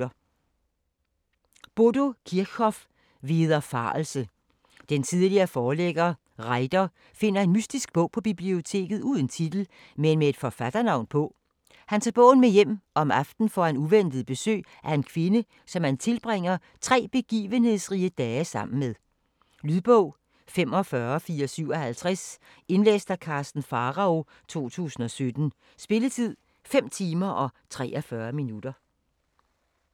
Kirchhoff, Bodo: Vederfarelse Den tidligere forlægger Reither finder en mystisk bog på biblioteket uden titel, men med et forfatternavn på. Han tager bogen med hjem og om aftenen får han uventet besøg af en kvinde, som han tilbringer tre begivenhedsrige dage sammen med. Lydbog 45457 Indlæst af Karsten Pharao, 2017. Spilletid: 5 timer, 43 minutter.